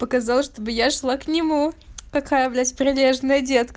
показала чтобы я шла к нему такая блять прилежный детка